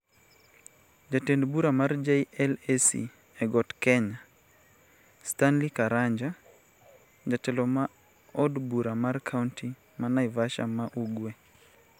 Jatend bura mar JLAC e got kenya, Stanley Karanja (jatelo ma od bura mar kaonti ma Naivasha ma Ugwe)